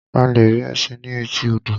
A lè rí ẹṣin ní etí odò.